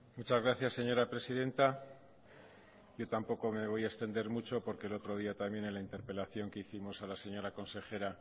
muchas gracias señora presidenta yo tampoco me voy a extender mucho porque el otro día también en la interpelación que hicimos a la señora consejera